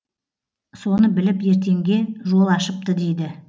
соны біліп ертеңге жол ашыпты дейді